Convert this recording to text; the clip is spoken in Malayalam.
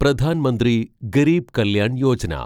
പ്രധാൻ മന്ത്രി ഗരീബ് കല്യാൺ യോജന